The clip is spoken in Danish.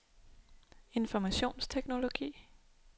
informationsteknologi